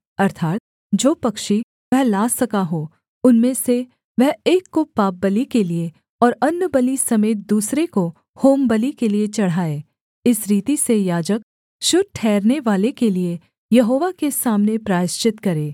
अर्थात् जो पक्षी वह ला सका हो उनमें से वह एक को पापबलि के लिये और अन्नबलि समेत दूसरे को होमबलि के लिये चढ़ाए इस रीति से याजक शुद्ध ठहरनेवाले के लिये यहोवा के सामने प्रायश्चित करे